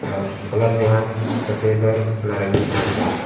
और कलर जो है सफ़ेद और नारंगी कलर का है।